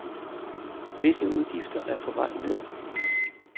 Visse udgifter er på vej ned.